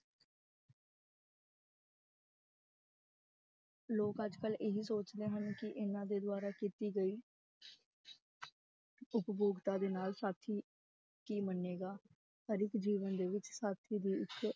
ਲੋਕ ਅੱਜ ਕੱਲ੍ਹ ਇਹੀ ਸੋਚਦੇ ਹਨ ਕਿ ਇਹਨਾਂ ਦੇ ਦੁਆਰਾ ਕੀਤੀ ਗਈ ਉਪਭੋਗਤਾ ਦੇ ਨਾਲ ਸਾਥੀ ਕੀ ਮੰਨੇਗਾ, ਹਰ ਇੱਕ ਜੀਵਨ ਦੇ ਵਿੱਚ ਸਾਥੀ ਦੀ ਇੱਕ